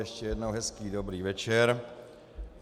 Ještě jednou hezký dobrý večer.